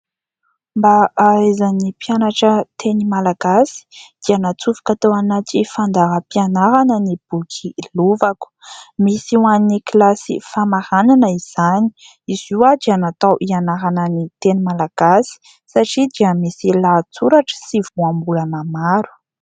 Mba hahaizan'ny mpianatra teny malagasy dia natsofoka tao anaty fandaharam-pianarana ny boky "lovako" , misy ho an'ny kilasy famaranana izany, izy io dia natao hianarana ny teny malagasy satria dia misy lahatsoratra sy voambolana maro.